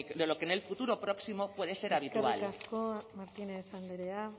de lo que en el futuro próximo puede ser habitual eskerrik asko martínez andrea